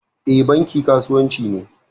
E, Banki kasuwanci ne.